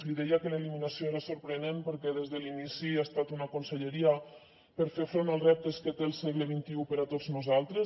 li deia que l’eliminació era sorprenent perquè des de l’inici ha estat una conselleria per fer front als reptes que té el segle xxi per a tots nosaltres